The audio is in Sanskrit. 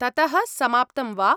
ततः समाप्तं वा?